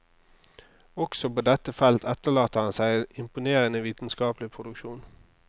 Også på dette felt etterlater han seg en imponerende vitenskapelig produksjon.